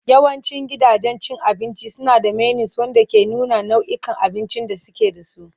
Yawancin gidajen cin abinci suna da menus wanda ke nuna nau'ikan abincin da suke da su.